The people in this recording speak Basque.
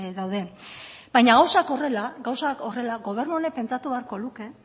dauden baina gauzak horrela gobernu honek pentsatu beharko luke